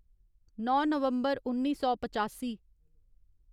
नौ नवम्बर उन्नी सौ पचासी